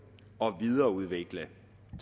og videreudvikle